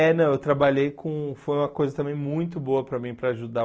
É, não, eu trabalhei com... foi uma coisa também muito boa para mim, para ajudar.